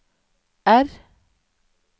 R